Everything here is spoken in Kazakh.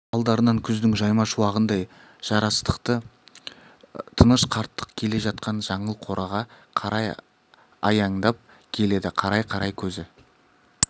алдарынан күздің жайма шуағындай жарастықты тыныш қарттық келе жатқан жаңыл қораға қарай аяңдап келеді қарай-қарай көзі